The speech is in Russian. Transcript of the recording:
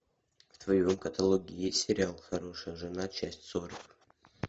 в твоем каталоге есть сериал хорошая жена часть сорок